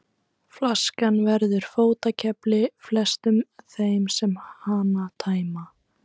Flaskan verður fótakefli flestum þeim sem hana tæma.